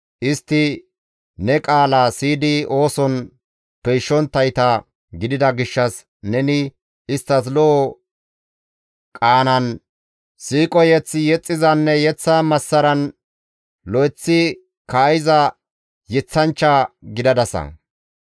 Istti ne qaalaa siyidi ooson peyshonttayta gidida gishshas, neni isttas lo7o qaanan siiqo mazamure yexxizanne yeththa massaran lo7eththi kaa7iza yeththanchcha gidadasa.